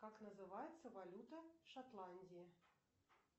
как называется валюта шотландии